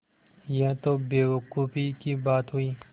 यह तो बेवकूफ़ी की बात हुई